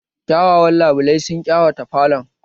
Kyawawan labulai sun ƙawata falon